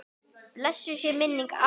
Blessuð sé minning afa míns.